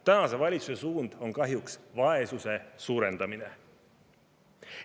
Tänase valitsuse suund on kahjuks vaesuse suurendamisele.